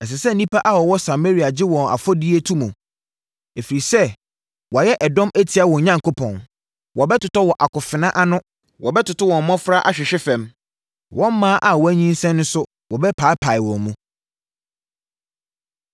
Ɛsɛ sɛ nnipa a wɔwɔ Samaria gye wɔn afɔdie to mu, ɛfiri sɛ wɔayɛ ɛdɔm atia wɔn Onyankopɔn. Wɔbɛtotɔ wɔ akofena ano; wɔbɛtoto wɔn mmɔfra ahwehwe fam, wɔn mmaa a wɔanyinsɛn nso wɔbɛpaapae wɔn mu.”